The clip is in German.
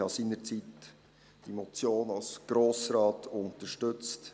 Ich hatte diese Motion damals als Grossrat unterstützt.